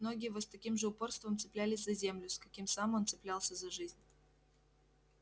ноги его с таким же упорством цеплялись за землю с каким сам он цеплялся за жизнь